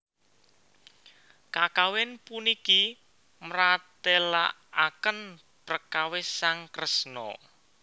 Kakawin puniki mratélakaken prekawis sang Kresna